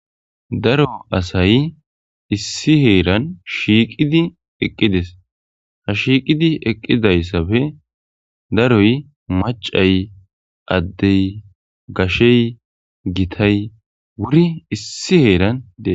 Daro asay issi heeran shiiqidi eqqides.ha shiiqidi eqqidayssabe daroy macay,addey, gashey, gitay wuri issi heeran dees.